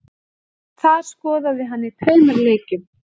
Þar skoraði hann í tveimur leikjum